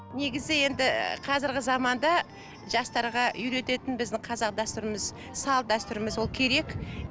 негізі енді ы қазіргі заманда жастарға үйрететін біздің қазақ дәстүріміз салт дәстүріміз ол керек